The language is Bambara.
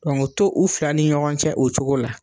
Dɔnki o to u fila ni ɲɔgɔn cɛ la, o cogo la.